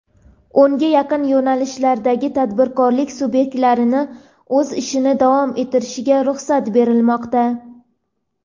O‘nga yaqin yo‘nalishlardagi tadbirkorlik subyektlarining o‘z ishini davom ettirishiga ruxsat berilmoqda.